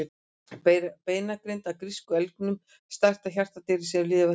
Beinagrind af írska elgnum, stærsta hjartardýri sem lifað hefur.